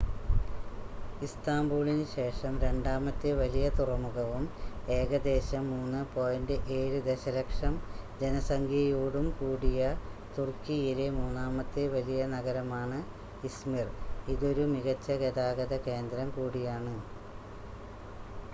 ഇസ്താംബൂളിന് ശേഷം രണ്ടാമത്തെ വലിയ തുറമുഖവും ഏകദേശം 3.7 ദശലക്ഷം ജനസംഖ്യയോടും കൂടിയ തുർക്കിയിലെ മൂന്നാമത്തെ വലിയ നഗരമാണ് ഇസ്മിർ ഇതൊരു മികച്ച ഗതാഗത കേന്ദ്രം കൂടിയാണ്